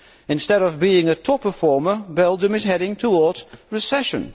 Instead of being a top performer, Belgium is heading towards recession.